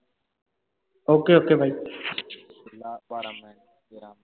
OK OK ਬਾਹੀ